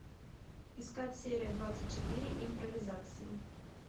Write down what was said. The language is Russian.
искать серия двадцать четыре импровизация